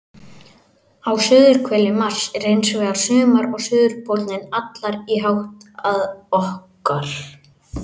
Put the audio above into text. Á suðurhveli Mars er hins vegar sumar og suðurpóllinn hallar í átt að okkar.